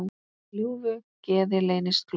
Í ljúfu geði leynist glóð.